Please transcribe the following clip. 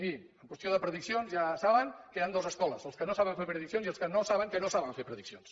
mirin en qüestió de prediccions ja saben que hi han dues escoles els que no saben fer prediccions i els que no saben que no saben fer prediccions